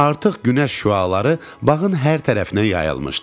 Artıq günəş şüaları bağın hər tərəfinə yayılmışdı.